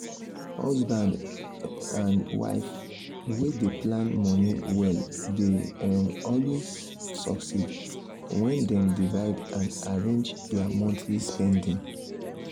husband um and wife wey dey plan money well dey um always succeed when dem divide and arrange their monthly spending.